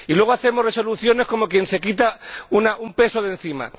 Y luego hacemos resoluciones como quien se quita un peso de encima.